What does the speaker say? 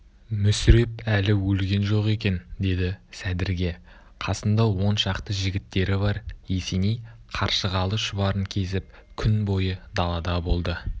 мүсіреп әлі өлген жоқ екен деді сәдірге қасында он шақты жігіттері бар есеней қаршығалы шұбарын кезіп күн бойы далада болды